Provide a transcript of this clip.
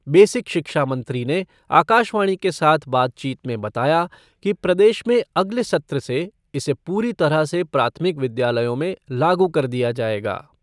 Basic शिक्षा मंत्री ने आकाशवाणी के साथ बातचीत में बताया कि प्रदेश में अगले सत्र से इसे पूरी तरह से प्राथमिक विद्यालयों में लागू कर दिया जायेगा।